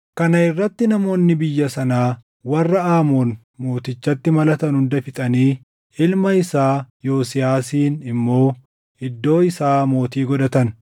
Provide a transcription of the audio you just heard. Kana irratti namoonni biyya sanaa warra Aamoon mootichatti malatan hunda fixanii ilma isaa Yosiyaasin immoo iddoo isaa mootii godhatan.